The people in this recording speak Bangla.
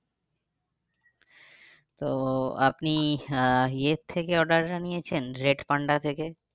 তো আপনি আহ এর থেকে order আনিয়েছেন রেডপান্ডা থেকে?